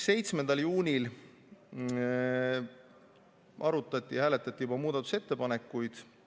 7. juunil arutati ja hääletati muudatusettepanekuid.